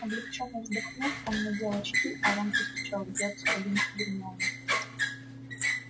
облегчённо вздохнув он надел очки а рон постучал в дверцу кабинки гермионы